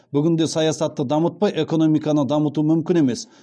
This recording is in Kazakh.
бүгінде саясатты дамытпай экономиканы дамыту мүмкін емес